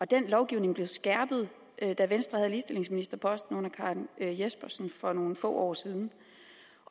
den lovgivning blev skærpet da venstre havde ligestillingsministerposten under fru karen jespersen for nogle få år siden